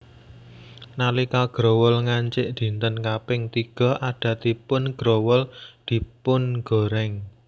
Nalika growol ngancik dinten kaping tiga adatipun growol dipungorèng